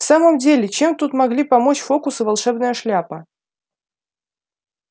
в самом деле чем тут могли помочь фоукс и волшебная шляпа